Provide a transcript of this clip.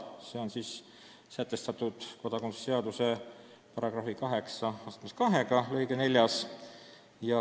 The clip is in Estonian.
See hakkab olema sätestatud kodakondsuse seaduse § 82 lõikes 4.